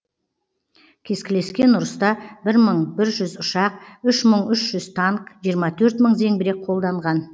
кескілескен ұрыста бір мың бір жүз ұшақ үш мың үш жүз танк жиырма төрт мың зеңбірек қолданған